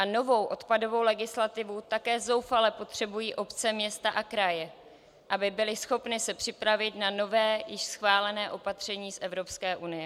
A novou odpadovou legislativu také zoufale potřebují obce, města a kraje, aby byly schopny se připravit na nové, již schválené opatření z Evropské unie.